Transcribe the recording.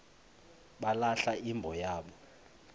balahla imbo yabo